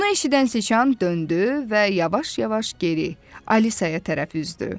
Bunu eşidən Siçan döndü və yavaş-yavaş geri Alisaya tərəf üzdü.